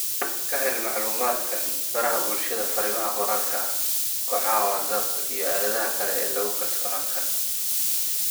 Ka hel macluumaadkan baraha bulshada, fariimaha qoraalka ah, kooxaha WhatsApp-ka iyo aaladaha kale ee lagu kalsoonaan karo